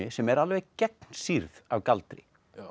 sem er alveg gegnsýrð af galdri